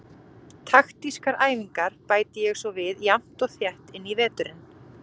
Taktískar æfingar bæti ég svo við jafnt og þétt inn í veturinn.